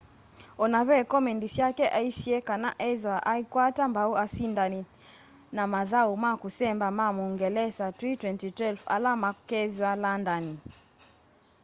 ona ve komendi syake aisye kana iethwa aikwata mbau asindani na mathau ma kusemba ma muungelesa twi 2012 ala makethwa landani